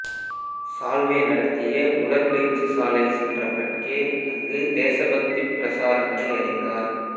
சால்வே நடத்திய உடற்பயிற்சிசாலை சென்ற பட்கே அங்கு தேசபக்திப் பிரசாரங்களை அறிந்தார்